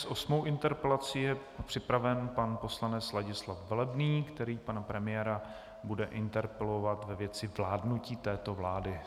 S osmou interpelací je připraven pan poslanec Ladislav Velebný, který pana premiéra bude interpelovat ve věci vládnutí této vlády.